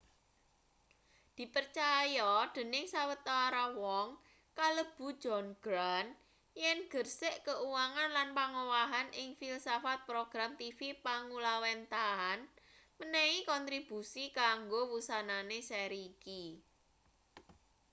dipercaya dening sawetara wong kalebu john grant yen gersik keuangan lan pangowahan ing filsafat program tv panggulawênthahan menehi kontribusi kanggo wusanane seri iki